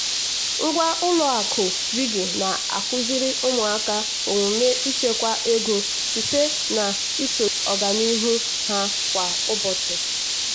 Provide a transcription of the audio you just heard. ngwa ụlọ akụ piggy na-akụziri ụmụaka omume ịchekwa ego site na-ịsochi ọganihu ha kwa ụbọchị.